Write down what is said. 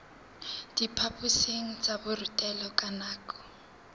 diphaphosing tsa borutelo ka nako